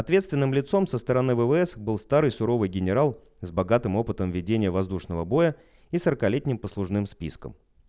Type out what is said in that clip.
ответственным лицом со стороны ввс был старый суровый генерал с богатым опытом ведения воздушного боя и сорокалетним послужным списком